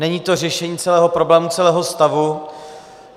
Není to řešení celého problému, celého stavu.